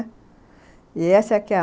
E essa